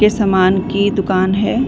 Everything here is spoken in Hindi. के सामान की दुकान है।